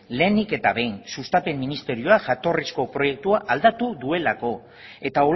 lehenik eta behin sustapen ministerioa jatorrizko proiektua aldatu duelako eta